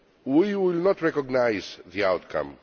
We will not recognise the outcome.